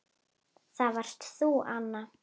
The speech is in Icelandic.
Það varst þú, Anna.